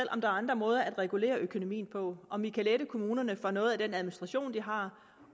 er andre måder at regulere økonomien på om vi kan lette kommunerne for noget af den administration de har